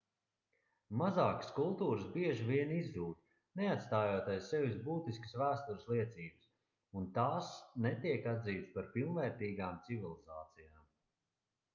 mazākas kultūras bieži vien izzūd neatstājot aiz sevis būtiskas vēstures liecības un tās netiek atzītas par pilnvērtīgām civilizācijām